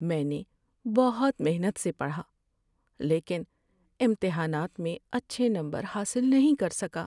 میں نے بہت محنت سے پڑھا لیکن امتحانات میں اچھے نمبر حاصل نہیں کر سکا۔